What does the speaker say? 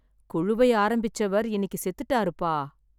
குழுவை ஆரம்பிச்சவர் இன்னைக்கு செத்துட்டாருப்பா.